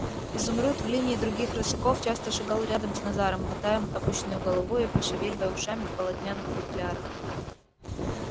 изумруд в линии других рысаков часто шагал рядом с назаром мотая опущенною головой и пошевеливая ушами в полотняных футлярах